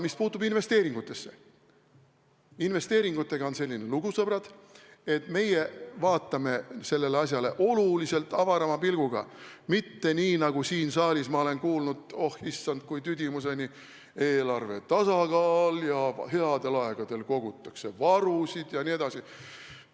Mis puutub investeeringutesse, siis investeeringutega on selline lugu, sõbrad, et meie vaatame sellele asjale oluliselt avarama pilguga, mitte nii, nagu ma siin saalis olen kuulnud, oh issand, tüdimuseni: eelarve tasakaal ja headel aegadel kogutakse varusid jne.